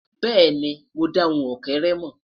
bẹẹni, mo da ohùn ókéré mọ.